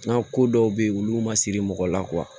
N'a ko dɔw bɛ yen olu ma siri mɔgɔ la